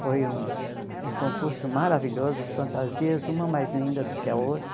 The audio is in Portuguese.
Foi um um concurso maravilhoso, as fantasias, uma mais linda do que a outra.